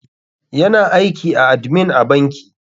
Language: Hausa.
Yana aiki a admin a banki.